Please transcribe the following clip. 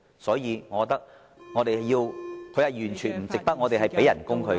所以，我認為......他完全不值我們向他支薪。